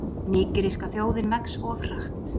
Nígeríska þjóðin vex of hratt